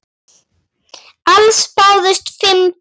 Alls bárust fimm tilboð.